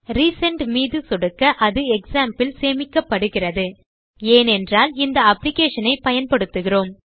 recent மீது சொடுக்க அது க்ஸாம்ப் இல் சேமிக்கப்படுகிறது ஏனென்றால் இந்த அப்ளிகேஷன் ஐ பயன்படுத்துகிறேன்